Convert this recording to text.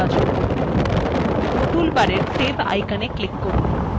toolbar save icon click করুন